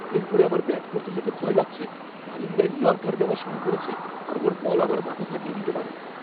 এর পরে আমার ব্যাট করতে যেতে ভয় লাগছে। মালিঙ্গা ইয়র্কার দেওয়া শুরু করেছে, আর ওর বল আমার মাথা ফাটিয়ে দিতে পারে।